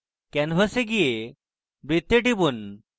canvas যান এবং বৃত্তে টিপুন